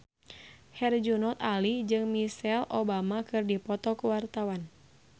Herjunot Ali jeung Michelle Obama keur dipoto ku wartawan